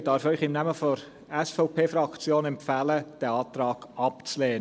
Ich darf Ihnen im Namen der SVP-Fraktion empfehlen, diesen Antrag abzulehnen.